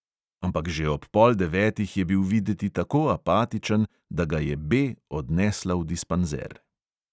Ampak že ob pol devetih je bil videti tako apatičen, da ga je B odnesla v dispanzer.